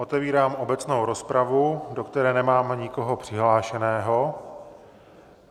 Otevírám obecnou rozpravu, do které nemám nikoho přihlášeného.